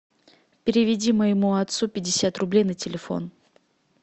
переведи моему отцу пятьдесят рублей на телефон